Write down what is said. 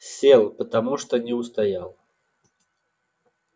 сел потому что не устоял